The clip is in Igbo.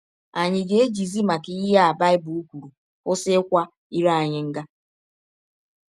Ànyị ga - ejizi maka ihe a Baịbụl kwụrụ kwụsị ịkwa ire anyị nga?